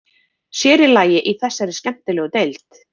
Sér í lagi í þessari skemmtilegu deild.